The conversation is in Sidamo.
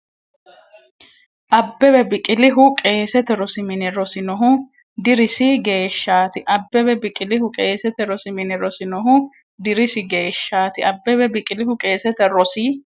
Abbebe Biqilihu qeesete rosi mine rosinohu dirisi geeshshaati Abbebe Biqilihu qeesete rosi mine rosinohu dirisi geeshshaati Abbebe Biqilihu qeesete rosi.